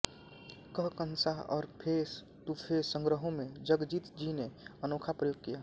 कहकशां और face to face संग्रहों में जगजीत जी ने अनोखा प्रयोग किया